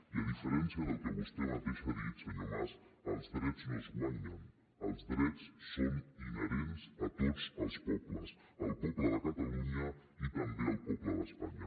i a diferència del que vostè mateix ha dit senyor mas els drets no es guanyen els drets són inherents a tots els pobles al poble de catalunya i també al poble d’espanya